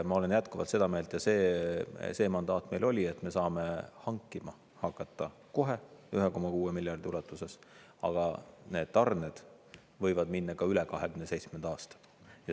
Ma olen jätkuvalt seda meelt ja see mandaat meil oli, et me saame hankima hakata kohe 1,6 miljardi ulatuses, aga need tarned võivad minna ka üle 2027. aasta.